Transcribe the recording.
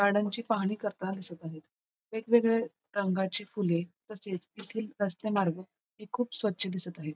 गार्डनची पाहणी करताना दिसत आहेत वेगवेगळे रंगाची फुले तसेच येथील रस्ते मार्गे ही खूप स्वच्छ दिसत आहे.